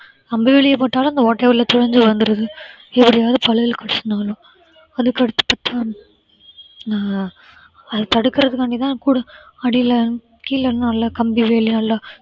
கம்பி வேலிய போட்டாலும் அந்த ஓட்டை உள்ள புகுந்து வந்துடுது பல்லுல கடிச்சினாலும் பல்லு கடிச்சுட்டு தான் நான் அது தடுக்கிறதுக்காண்டி தான் கூட அடியில கீழ இன்னும் நல்லா கம்பி வேலி நல்லா